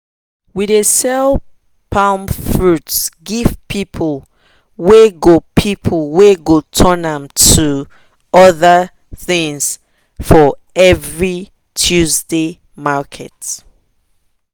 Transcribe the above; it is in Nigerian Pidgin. we dey sell palm friut give people wey go people wey go turn am to other things for every tuesday market